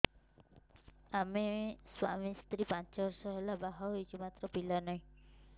ଆମେ ସ୍ୱାମୀ ସ୍ତ୍ରୀ ପାଞ୍ଚ ବର୍ଷ ହେଲା ବାହା ହେଇଛୁ ମାତ୍ର ପିଲା ନାହିଁ